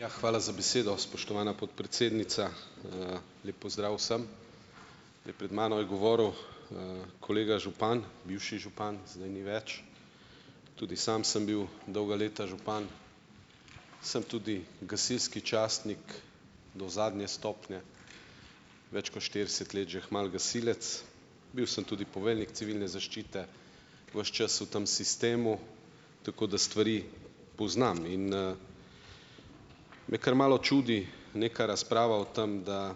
Ja, hvala za besedo, spoštovana podpredsednica. Lep pozdrav vsem! Pred mano je govoril kolega župan, bivši župan, zdaj ni več. Tudi sam sem bil dolga leta župan. Sem tudi gasilski častnik do zadnje stopnje, več kot štirideset let že kmalu gasilec, bil sem tudi poveljnik civilne zaščite, ves čas v tem sistemu, tako da stvari poznam in, me kar malo čudi neka razprava o tem, da